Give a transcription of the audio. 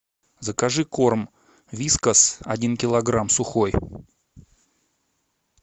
закажи корм вискас один килограмм сухой